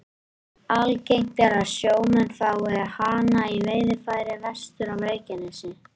Algengt er að sjómenn fái hana í veiðarfæri vestur af Reykjanesi.